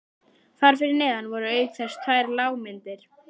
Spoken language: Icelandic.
Þar fyrir neðan voru auk þess tvær lágmyndir